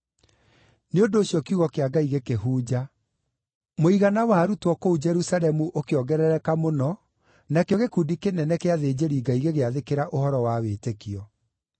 Nĩ ũndũ ũcio kiugo kĩa Ngai gĩkĩhunja. Mũigana wa arutwo kũu Jerusalemu ũkĩongerereka mũno, nakĩo gĩkundi kĩnene kĩa athĩnjĩri-Ngai gĩgĩathĩkĩra ũhoro wa wĩtĩkio.